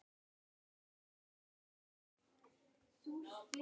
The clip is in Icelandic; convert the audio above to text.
En þú vissir ekkert.